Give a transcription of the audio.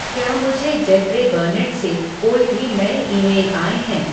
क्या मुझे Jeffrey Burnett से कोई भी नए ईमेल आए हैं